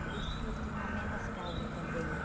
Por isso que tinha menos casa também, né?